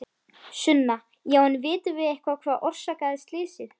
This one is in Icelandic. Sunna: Já en vitum við eitthvað hvað orsakaði slysið?